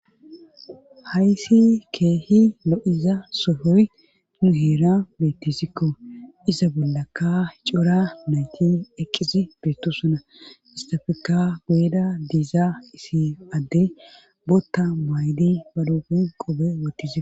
Hayssi keehi lo'iza sohoy nu heera beettisikko iza bollakka cora nayti eqqisi beetto suna istafekka goyda diiza isi adde bootta maydi ba doofun qobe wottizik.